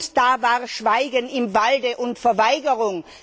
Und da war Schweigen im Walde und Verweigerung.